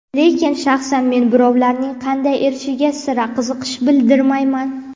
Lekin shaxsan men birovlarning qanday erishishiga sira qiziqish bildirmayman.